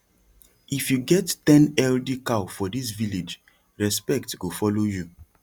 if you get ten healthy cow for this village respect go follow you